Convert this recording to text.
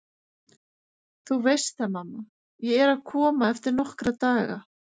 Þú veist það mamma, ég er að koma eftir nokkra daga